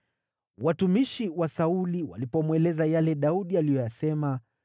Watumishi wa Sauli walipomweleza yale Daudi aliyoyasema,